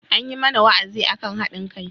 An yi mana wa'azi akan haɗin kai.